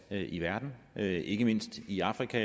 alt i verden og ikke mindst i afrika